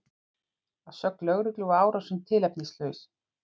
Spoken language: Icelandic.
Að sögn lögreglu var árásin tilefnislaus